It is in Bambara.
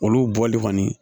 Olu bɔli kɔni